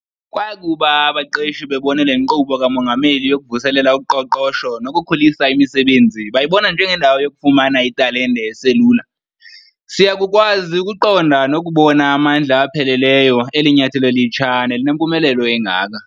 Kwakuba abaqeshi bebone le Nkqubo kaMongameli yokuvuselela uqoqosho nokukhulisa imisebenzi bayibona njengendawo yokufumana italente eselula, siyakukwazi ukuqonda nokubona amandla apheleleyo eli nyathelo litsha nelinempumelelo engaka.